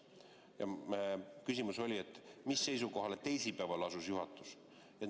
Ja küsimus oli, mis seisukohale teisipäeval juhatus asus.